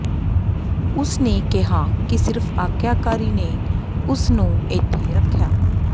ਉਸਨੇ ਕਿਹਾ ਕਿ ਸਿਰਫ ਆਗਿਆਕਾਰੀ ਨੇ ਉਸਨੂੰ ਇੱਥੇ ਰੱਖਿਆ